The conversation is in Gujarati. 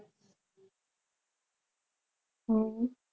હમ